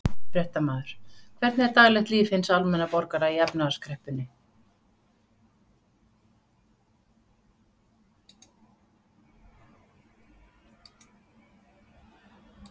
Fréttamaður: Hvernig er daglegt líf hins almenna borgara í efnahagskreppunni?